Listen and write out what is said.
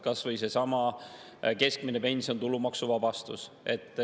Kas või seesama keskmise pensioni tulumaksuvabastus.